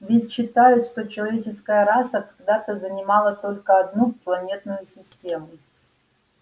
ведь считают что человеческая раса когда-то занимала только одну планетную систему